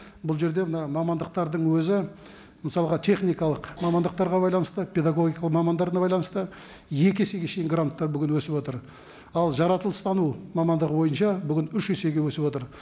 бұл жерде мына мамандықтардың өзі мысалға техникалық мамандықтарға байланысты педагогикалық мамандарына байланысты екі есеге шейін гранттар бүгін өсіп отыр ал жаратылыстану мамандығы бойынша бүгін үш есеге өсіп отыр